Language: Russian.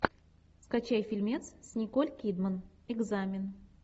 скачай фильмец с николь кидман экзамен